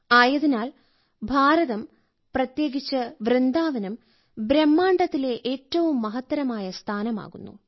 ആയതിനാൽ ഭാരതം പ്രത്യേകിച്ച് വൃന്ദാവനം ബ്രഹ്മാണ്ഡത്തിലെ ഏറ്റവും മഹത്തരമായ സ്ഥാനമാകുന്നു